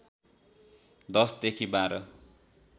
१० देखि १२